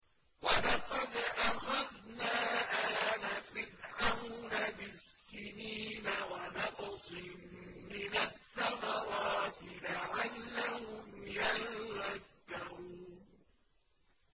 وَلَقَدْ أَخَذْنَا آلَ فِرْعَوْنَ بِالسِّنِينَ وَنَقْصٍ مِّنَ الثَّمَرَاتِ لَعَلَّهُمْ يَذَّكَّرُونَ